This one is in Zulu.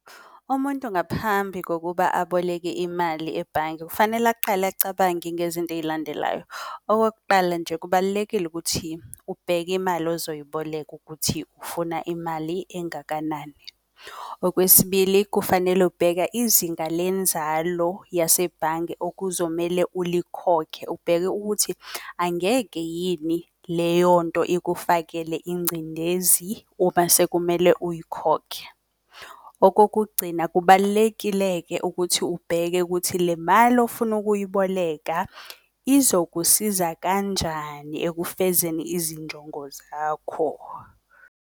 Umuntu ngaphambi kokuba aboleke imali ebhange kufanele aqale acabange ngezinto eyilandelayo. Okokuqala nje, kubalulekile ukuthi ubheke imali ozoyiboleka ukuthi ufuna imali engakanani. Okwesibili, kufanele ubheka izinga lenzalo yasebhange okuzomele ulikhokhe, ubheke ukuthi angeke yini leyonto ikufakele ingcindezi uma sekumele uyikhokhe. Okokugcina, kubalulekile-ke ukuthi ubheke kuthi le mali ofuna ukuyiboleka izokusiza kanjani ekufezeni izinjongo zakho.